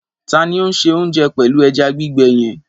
Ta ni ó ń se oúnjẹ pẹ̀lú ẹja gbígbẹ yẹn?